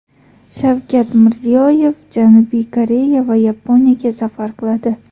Shavkat Mirziyoyev Janubiy Koreya va Yaponiyaga safar qiladi.